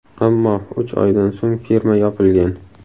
Ammo uch oydan so‘ng firma yopilgan.